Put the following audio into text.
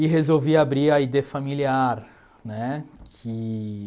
E resolvi abrir a í dê Familiar né que...